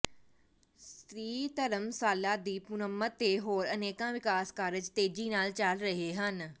ਸੀ ਧਰਮਸ਼ਾਲਾ ਦੀ ਮੁਰੰਮਤ ਤੇ ਹੋਰ ਅਨੇਕਾਂ ਵਿਕਾਸ ਕਾਰਜ਼ ਤੇਜੀ ਨਾਲ ਚੱਲ ਰਹੇ ਹਨ